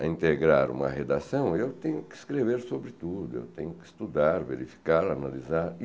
a integrar uma redação, eu tenho que escrever sobre tudo, eu tenho que estudar, verificar, analisar.